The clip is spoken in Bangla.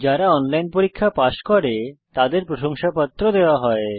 যারা অনলাইন পরীক্ষা পাস করে তাদের প্রশংসাপত্র দেওয়া হয়